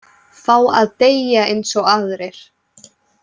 Fá að deyja eins og aðrir.